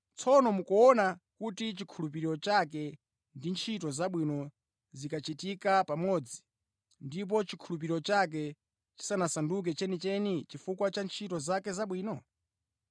Tsono mukuona kuti chikhulupiriro chake ndi ntchito zabwino zinkachitika pamodzi, ndipo chikhulupiriro chake chinasanduka chenicheni chifukwa cha ntchito zake zabwino.